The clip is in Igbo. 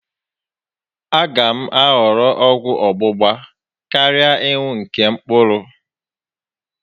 A gá m ahọrọ ọgwụ ọ́gbụgba karịa ịnụ nke mkpụrụ